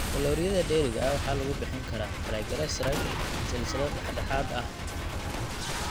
Kalooriyada dheeriga ah waxaa lagu bixin karaa triglycerides silsilad dhexdhexaad ah (saliid MCT).